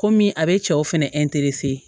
Komi a bɛ cɛw fɛnɛ